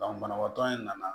banabaatɔ in nana